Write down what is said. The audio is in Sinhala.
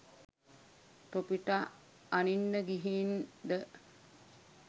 තොපිට අනින්න ගිහින් ද?